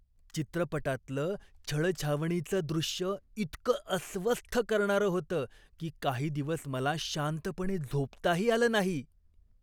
चित्रपटातलं छळछावणीचं दृश्य इतकं अस्वस्थ करणारं होतं की काही दिवस मला शांतपणे झोपताही आलं नाही.